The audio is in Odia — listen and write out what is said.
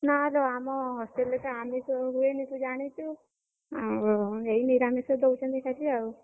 ନା ଲୋ ଆମ hostel ରେ ଆମିଷ ହୁଏନି ତୁ ଜାଣିଛୁ, ଆଉ ଏଇ ନିରାମିଷ ଦଉଛନ୍ତି ଖାଲି ଆଉ।